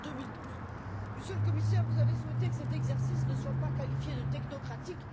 2012. Monsieur le Commissaire, vous avez souhaité que cet exercice ne soit pas qualifié de technocratique.